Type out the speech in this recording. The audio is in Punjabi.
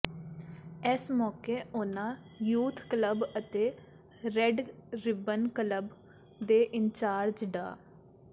ਇਸ ਮੌਕੇ ਉਨ੍ਹਾਂ ਯੂਥ ਕਲੱਬ ਅਤੇ ਰੈੱਡ ਰਿਬਨ ਕਲੱਬ ਦੇ ਇੰਚਾਰਜ ਡਾ